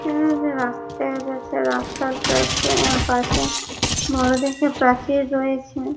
এখানে একটা রাস্তা আছে রাস্তার পাশে অ্যা পাশে বড়ো দেখে প্রাচীর রয়েছে।